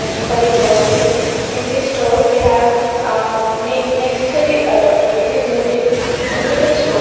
necessary groceries in this store we have a necessary items with limited store.